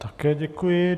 Také děkuji.